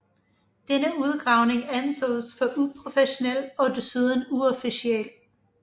Denne udgravning ansås for uprofessionel og desuden uofficiel